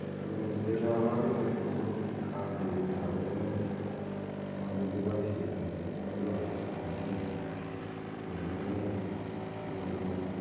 Ako mitei kabarunet ko bun kandoik ab emet eng ole kibaishetoi chepkondok ab somanet eng emet ku ole makat.